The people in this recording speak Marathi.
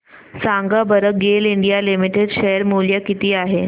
सांगा बरं गेल इंडिया लिमिटेड शेअर मूल्य किती आहे